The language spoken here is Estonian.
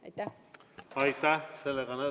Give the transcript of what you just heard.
Aitäh!